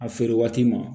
A feere waati ma